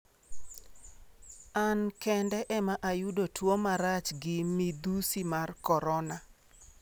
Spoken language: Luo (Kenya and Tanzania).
An kende ema oyudo tuo marach gi midhusi mar korona".